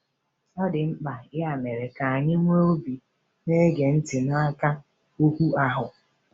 Ọ dị mkpa, ya mere, ka anyị nwee obi na-ege ntị n’aka “ohu ahụ.”